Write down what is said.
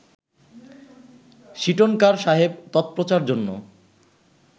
সীটনকার সাহেব তৎপ্রচার-জন্য